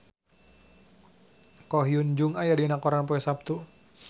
Ko Hyun Jung aya dina koran poe Saptu